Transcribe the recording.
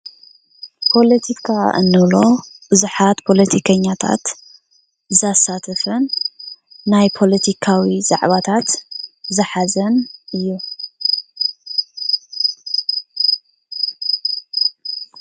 ፖለቲካ እንብሎ ብዙሓት ፖለቲከኛታት ዘሳትፍ ናይ ፖለቲካዊ ዛዕባታት ዝሓዘን እዩ፡፡